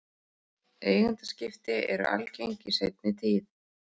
Eigendaskipti eru algeng í seinni tíð.